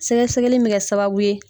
Sɛgɛsɛgɛli in bɛ kɛ sababu ye